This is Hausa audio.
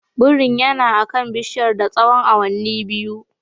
Birin yana akan bishiyar na tsawon awanni biyu.